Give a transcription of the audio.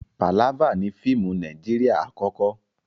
Pàlávà ni fíìmù Nàíjírìà àkọ́kọ́.